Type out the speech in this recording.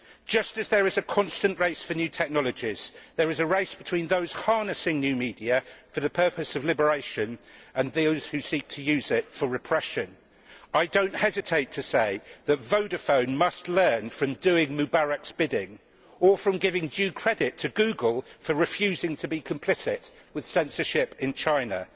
Just as there is a constant race for new technologies, there is a race between those harnessing new media for the purpose of liberation and those who seek to use it for repression. I do not hesitate to say that Vodafone must learn from doing Mubarak's bidding or to give due credit to Google for refusing to be complicit with censorship in China.